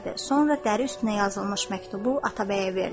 Sonra dəri üstünə yazılmış məktubu Atabəyə verdi.